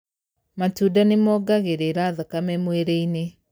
Matunda nĩmongagĩrĩra thakame mwĩrĩ-inĩ.